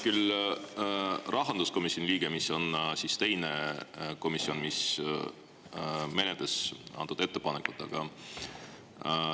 Mina olen rahanduskomisjoni liige, mis on teine komisjon, kes menetles antud ettepanekut.